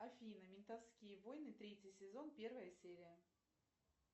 афина ментовские войны третий сезон первая серия